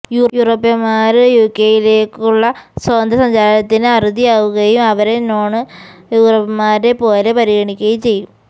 യൂറോപ്യന്മാര്ക്ക് യുകെയിലേക്കുള്ള സ്വതന്ത്ര സഞ്ചാരത്തിന് അറുതിയാവുകയും അവരെ നോണ് യൂറോപ്യന്മാരെ പോലെ പരിഗണിക്കുകയും ചെയ്യും